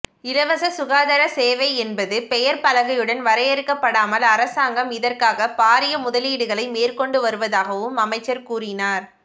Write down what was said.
இலவச சுகாதார சேவை என்பது பெயர் பலகைகளுடன் வரையறுக்கப்படாமல் அரசாங்கம் இதற்காக பாரிய முதலீடுகளை மேற்கொண்டு வருவதாகவும் அமைச்சர் கூறினார்